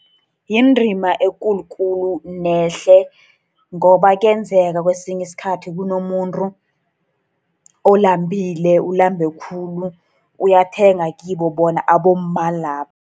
Yindima ekulu khulu, nehle. Ngoba kuyenzeka kwesinye isikhathi kunomuntu olambile, ulambe khulu. Uyathenga kibo bona abomma labo.